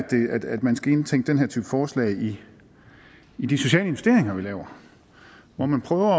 man skulle indtænke den her type forslag i i de sociale investeringer vi laver så man prøver